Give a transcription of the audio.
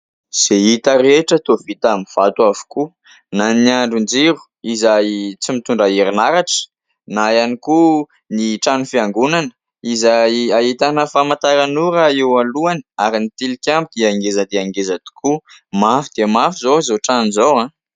Izay hita rehetra toa vita amin'ny vato avokoa na ny andrin-jiro izay tsy mitondra herinaratra, na ihany koa ny trano fiangonana izay ahitana famantaranora eo alohany ary ny tilikambo dia ngeza dia ngeza tokoa. Mafy dia mafy izao izao trano izao.